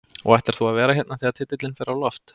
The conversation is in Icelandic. Og ætlar þú að vera hérna þegar titilinn fer á loft?